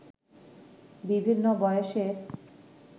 বিভিন্ন বয়সের